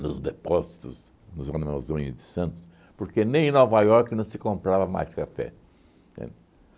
nos depósitos, nos de Santos, porque nem em Nova Iorque não se comprava mais café, entende?